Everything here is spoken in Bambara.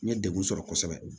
N ye degun sɔrɔ kosɛbɛ